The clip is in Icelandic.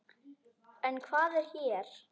En hvað er hér?